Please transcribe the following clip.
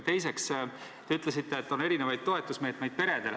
Teiseks, te ütlesite, et peredele on erinevaid toetusmeetmeid.